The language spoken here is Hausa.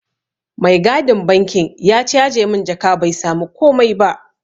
Mai gadin bankin ya caje mun jaka bai samu komai ba.